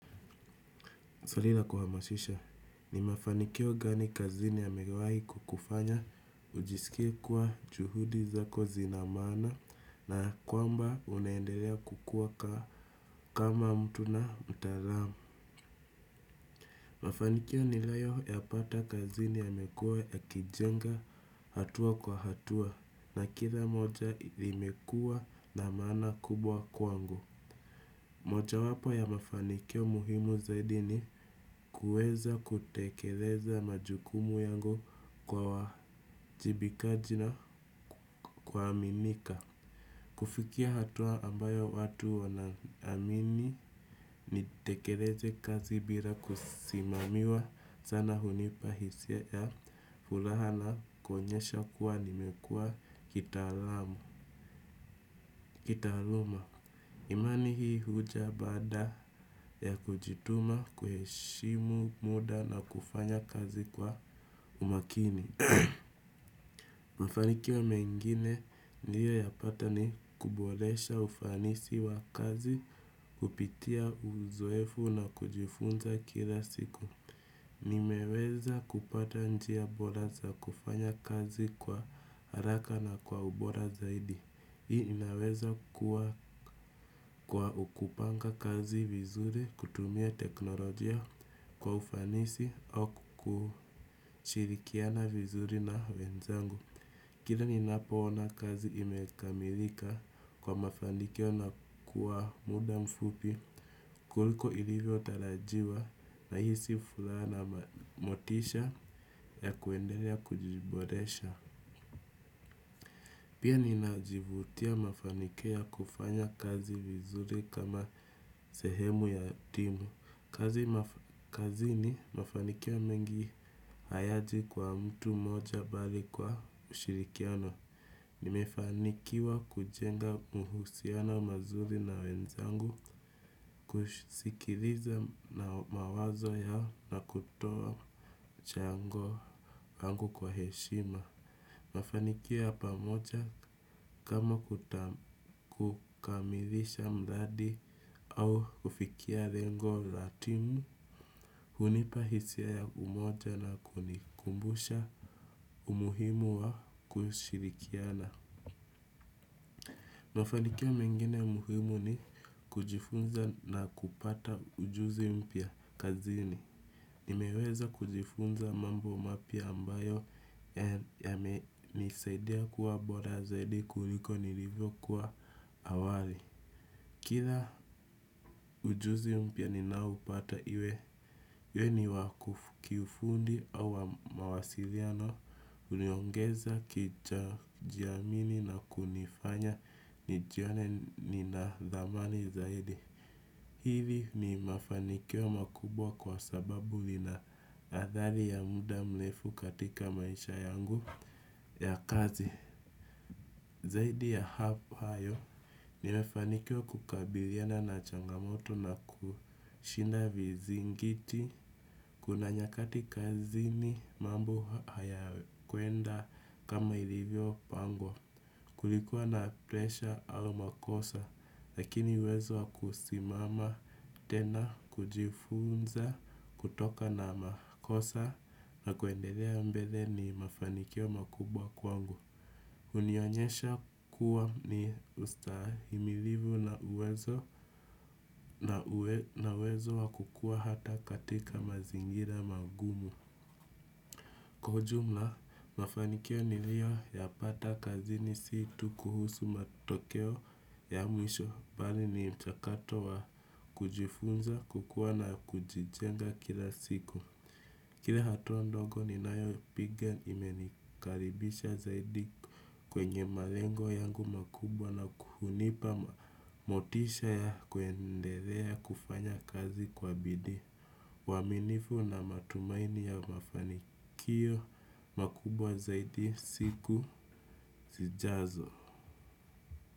Swali la kuhamashisha. Ni mafanikio gani kazini yamewahi kukufanya ujisikie kuwa juhudi zako zina maana na kwamba unaendelea kukua kama mtu na mtaalamu? Mafanikio niliyoyapata kazini yamekuwa yakijenga hatua kwa hatua na kila moja imekuwa na maana kubwa kwangu. Moja wapo ya mafanikio muhimu zaidi ni kuweza kutekeleza majukumu yangu kwa uwajibikaji na kuaminika. Kufikia hatua ambayo watu wanaamini nitekeleze kazi bila kusimamiwa sana hunipa hisia ya furaha na kuonyesha kuwa nimekuwa kitaalamu, kitaaluma. Imani hii huja baada ya kujituma, kuheshimu muda na kufanya kazi kwa umakini. Mafanikio mengine niliyoyapata ni kuboresha ufanisi wa kazi, kupitia uzoefu na kujifunza kila siku. Nimeweza kupata njia bora za kufanya kazi kwa haraka na kwa ubora zaidi. Hii inaweza kuwa kwa kupanga kazi vizuri kutumia teknolojia kwa ufanisi au kushirikiana vizuri na wenzangu. Kila ninapoona kazi imekamilika kwa mafanikio na kwa muda mfupi kuliko ilivyo tarajiwa nahisi furaha na motisha ya kuendelea kujiboresha. Pia ninajivutia mafanikio ya kufanya kazi vizuri kama sehemu ya timu. Kazini, mafanikio mengi hayaji kwa mtu mmoja bali kwa ushirikiano. Nimefanikiwa kujenga uhusiano mazuri na wenzangu, kusikiliza na mawazo yao na kutoa mchango wangu kwa heshima. Mafanikio ya pamoja kama kukamilisha mradi au kufikia lengo la timu, hunipa hisia ya umoja na kunikumbusha umuhimu wa kushirikiana. Mafanikio mengine muhimu ni kujifunza na kupata ujuzi mpya kazini. Nimeweza kujifunza mambo mapya ambayo yamenisaidia kuwa bora zaidi kuliko nilivyo kuwa awali. Kila ujuzi mpya ninaopata iwe, iwe ni wa kiufundi au mawasiliano. Uliongeza kujiamini na kunifanya nijione nina thamani zaidi. Hili ni mafanikio makubwa kwa sababu lina adhali ya muda mrefu katika maisha yangu ya kazi. Zaidi ya hayo, nimefanikiwa kukabiliana na changamoto na kushinda vizingiti. Kuna nyakati kazini mambo hayakuenda kama ilivyo pangwa. Kulikuwa na presha au makosa, lakini uwezo wa kusimama tena kujifunza kutokana na makosa na kuendelea mbele ni mafanikio makubwa kwangu. Hunionyesha kuwa ni ustahimilivu na uwezo na uwezo wa kukua hata katika mazingira magumu. Kwa ujumla, mafanikio niliyoyapata kazini si tu kuhusu matokeo ya mwisho, bali ni mchakato wa kujifunza, kukua na kujijenga kila siku. Kila hatua ndogo ninayopiga imenikaribisha zaidi kwenye malengo yangu makubwa na kuhunipa motisha ya kuendelea kufanya kazi kwa bidii. Uaminifu na matumaini ya mafanikio makubwa zaidi siku zijazo.